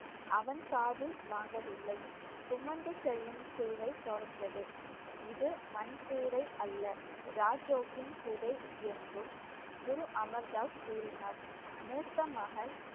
அவன் காதில் வாங்கவில்லை. சுமந்து செல்லும் சேவை தொடர்ந்தது இது மண் கூடை அல்ல. ராஜோக்கின் கூடை என்றும் குரு அமர் தாஸ் கூறினார் மூத்த மகன்